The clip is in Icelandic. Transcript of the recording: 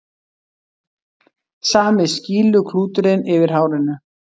Sami skýluklúturinn yfir hárinu.